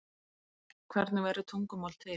hvernig verður tungumál til